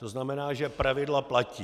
To znamená, že pravidla platí.